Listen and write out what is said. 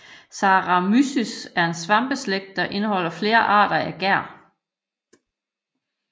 Saccharomyces er en svampeslægt der indeholder flere arter af gær